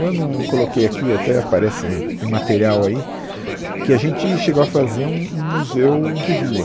Eu não coloquei aqui, até parece que tem material aí, que a gente chegou a fazer um um museu de rua.